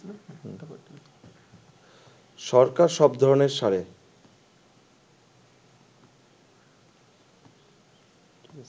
সরকার সব ধরণের সারে